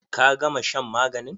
Ka gama shan maganin!